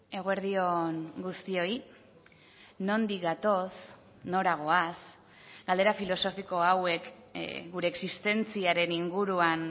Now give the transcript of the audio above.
eguerdi on guztioi nondik gatoz nora goaz galdera filosofiko hauek gure existentziaren inguruan